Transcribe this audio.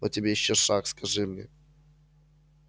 вот тебе ещё шах скажи мне